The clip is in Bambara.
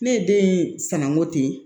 Ne ye den in san ko ten